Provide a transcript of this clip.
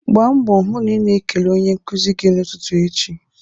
Gbaa mbọ hụ na ị na-ekele onye nkuzi gị n'ụtụtụ echi